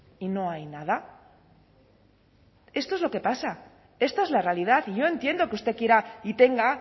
y no hay nada esto es lo que pasa esta es la realidad y yo entiendo que usted quiera y tenga